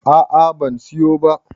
a a ban siyo ba